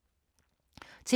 TV 2